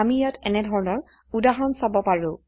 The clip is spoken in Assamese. আমি ইয়াত এনেধৰনৰ উদাহৰণ চাব পাৰো